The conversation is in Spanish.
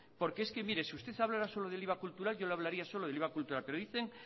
porque si usted hablara solo del iva cultural yo le hablaría solo del iva cultural pero dicen